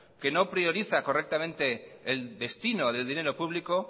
que no prioriza correctamente el destino del dinero público